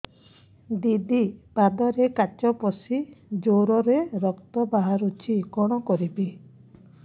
ଦିଦି ପାଦରେ କାଚ ପଶି ଜୋରରେ ରକ୍ତ ବାହାରୁଛି କଣ କରିଵି